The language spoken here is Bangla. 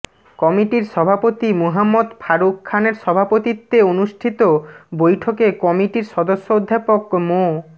কমিটির সভাপতি মুহাম্মদ ফারুক খানের সভাপতিত্বে অনুষ্ঠিত বৈঠকে কমিটির সদস্য অধ্যাপক মো